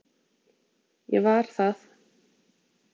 Ég var það.